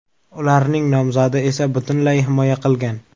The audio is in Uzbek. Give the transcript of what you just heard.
Ularning nomzodi esa butunlay himoya qilgan.